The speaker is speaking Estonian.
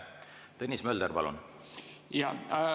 Tõnis Mölder, palun!